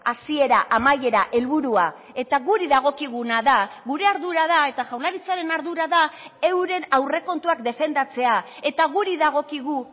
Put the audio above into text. hasiera amaiera helburua eta guri dagokiguna da gure ardura da eta jaurlaritzaren ardura da euren aurrekontuak defendatzea eta guri dagokigu